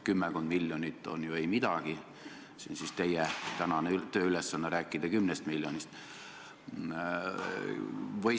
Kümmekond miljonit pole ju mitte midagi, aga teie tänane tööülesanne oli rääkida kümnest miljonist.